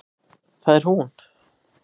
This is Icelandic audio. Það er hún!